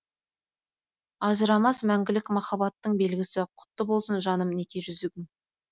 ажырамас мәңгілік махаббаттың белгісі құтты болсын жаным неке жүзігің